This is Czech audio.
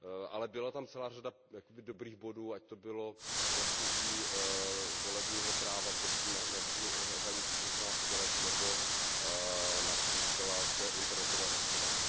Ale byla tam celá řada dobrých bodů, ať to bylo klesnutí volebního práva na hranici šestnácti let nebo například internetové hlasování.